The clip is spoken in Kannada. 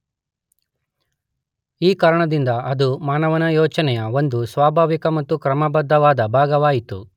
ಈ ಕಾರಣದಿಂದ ಅದು ಮಾನವನ ಯೋಚನೆಯ ಒಂದು ಸ್ವಾಭಾವಿಕ ಮತ್ತು ಕ್ರಮಬದ್ಧವಾದ ಭಾಗವಾಯಿತು.